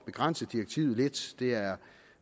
begrænse direktivet lidt det er